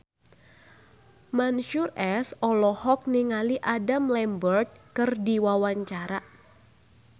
Mansyur S olohok ningali Adam Lambert keur diwawancara